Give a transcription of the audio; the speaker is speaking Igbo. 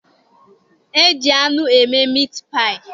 E ji anụ eme mit paayị.